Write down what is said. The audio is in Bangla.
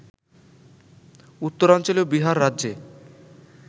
উত্তরাঞ্চলীয় বিহার রাজ্যে